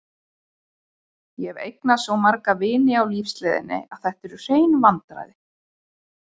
Ég hef eignast svo marga vini á lífsleiðinni að þetta eru hrein vandræði.